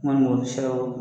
N kɔni b'o dɔn